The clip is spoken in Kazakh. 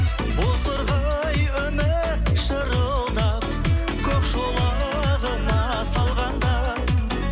бозторғай үміт шырылдап көк шолағына салғанда